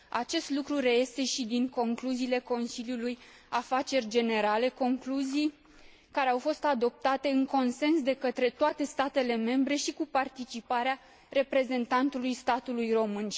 Acest lucru reiese și din concluziile Consiliului Afaceri Generale, concluzii care au fost adoptate, în consens, de către toate statele membre și cu participarea reprezentantului statului român.